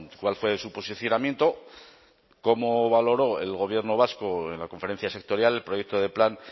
cuál fue su posicionamiento cómo valoró el gobierno vasco en la conferencia sectorial el proyecto de plan